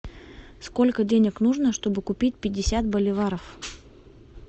сколько денег нужно чтобы купить пятьдесят боливаров